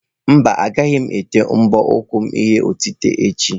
Mba, agaghị m ete mbọ ụkwụ m ihe otite echi.